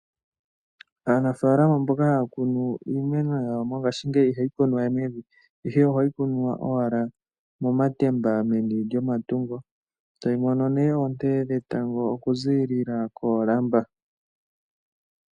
Aanafaalama mboka haya kunu iimeno yawo mongaashingeyi ihayi kunwa we mevi, ihe ohayi kunwa owala momatemba meni lyomatungo, etayi mono nee oonte dhetango oku ziilila koolamba.